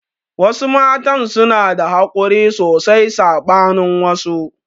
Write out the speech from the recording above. Wasu matan suna da hakuri sosai saɓanin wasu